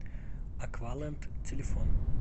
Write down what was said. аквалэнд телефон